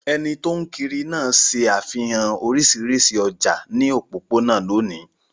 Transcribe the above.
Ẹni tó ń kiri náà ṣe àfihàn oríṣiríṣi ọjà ní òpópónà lónìí.